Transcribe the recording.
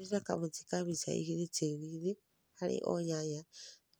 handĩrĩra kamũtĩ ka mĩta ĩgĩrĩ tĩĩrĩ ĩnĩ harĩ o nyanya